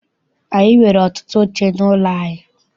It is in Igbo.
Anyị nwere ọtụtụ oche n'ụlọ anyị.